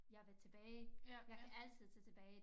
Jeg vil tage tilbage jeg kan altid tage tilbage